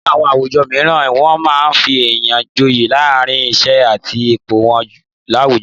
Ní àwọn àwùjọ mìíràn wọn máa ń fi èèyàn joye látàrí, iṣẹ́ àti ipò wọn láwùjọ